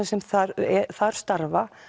sem þar þar starfa